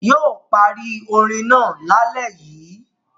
Yóò parí orin náà lálẹ́ yìí.